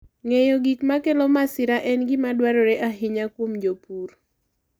Ng'eyo gik makelo masira en gima dwarore ahinya kuom jopur.